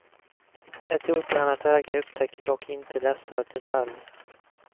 Ett otränat öga upptäcker dock inte dessa detaljer.